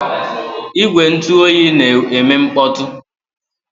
Igwe ntụ oyi na-eme mkpọtụ.